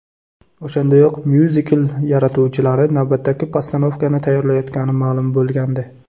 O‘shandayoq myuzikl yaratuvchilari navbatdagi postanovkani tayyorlayotgani ma’lum bo‘lgandi.